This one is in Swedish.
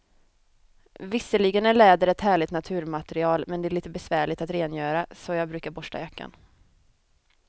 Visserligen är läder ett härligt naturmaterial, men det är lite besvärligt att rengöra, så jag brukar borsta jackan.